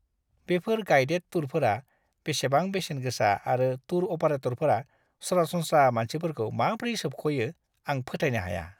बेफोर गाइडेड टुरफोरा बेसेबां बेसेन गोसा आरो टूर अपारेटरफोरा सरासनस्रा मानसिफोरखौ माब्रै सोबख'यो आं फोथायनो हाया!